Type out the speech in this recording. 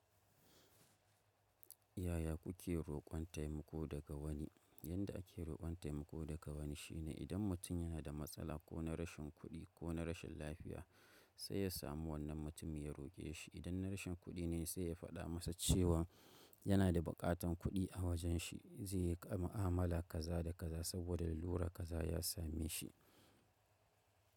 Yaya kuke roƙon taimako daga wani? Yanda ake roƙon taimako daga wani shine, idan mutum yana da matsala ko na rashin kuɗi ko na rashin lafiya sai ya samu wannan mutum ya roƙe shi. Idan na rashin kuɗi ne sai ya faɗa masa cewan yana da buƙatan kuɗi a wajen shi zai yi mu'amala kaza da kaza, saboda lalura kaza ya same shi.